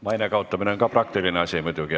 Maine kaotamine on ka muidugi praktiline asi.